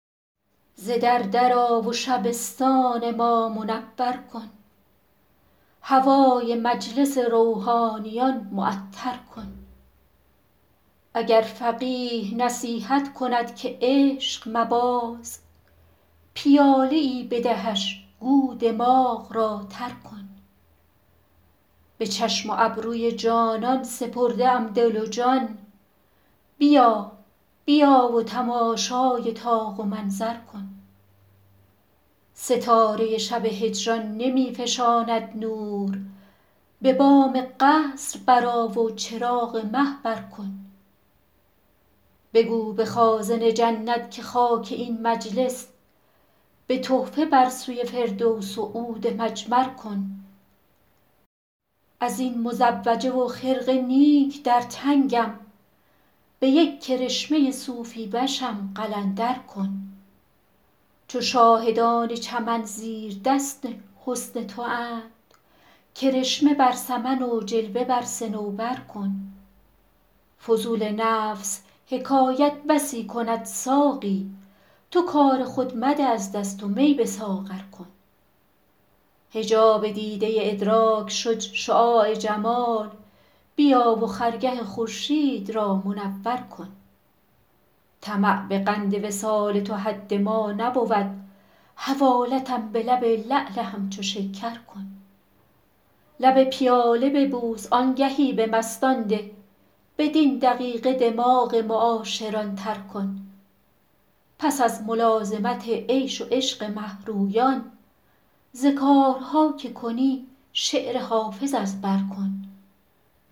ز در در آ و شبستان ما منور کن هوای مجلس روحانیان معطر کن اگر فقیه نصیحت کند که عشق مباز پیاله ای بدهش گو دماغ را تر کن به چشم و ابروی جانان سپرده ام دل و جان بیا بیا و تماشای طاق و منظر کن ستاره شب هجران نمی فشاند نور به بام قصر برآ و چراغ مه بر کن بگو به خازن جنت که خاک این مجلس به تحفه بر سوی فردوس و عود مجمر کن از این مزوجه و خرقه نیک در تنگم به یک کرشمه صوفی وشم قلندر کن چو شاهدان چمن زیردست حسن تواند کرشمه بر سمن و جلوه بر صنوبر کن فضول نفس حکایت بسی کند ساقی تو کار خود مده از دست و می به ساغر کن حجاب دیده ادراک شد شعاع جمال بیا و خرگه خورشید را منور کن طمع به قند وصال تو حد ما نبود حوالتم به لب لعل همچو شکر کن لب پیاله ببوس آنگهی به مستان ده بدین دقیقه دماغ معاشران تر کن پس از ملازمت عیش و عشق مه رویان ز کارها که کنی شعر حافظ از بر کن